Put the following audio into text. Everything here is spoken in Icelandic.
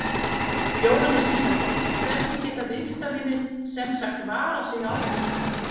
Jóhannes Kristjánsson: Hvernig geta viðskiptavinir sem sagt varað sig á þessu?